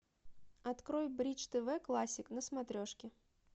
открой бридж тв классик на смотрешке